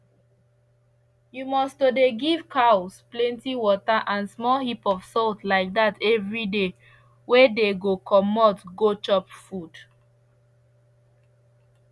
you must to dey give cows plenty water and small heap of salt like dat everyday wey dey go comot go chop food